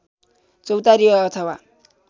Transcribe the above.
चौतारी अथवा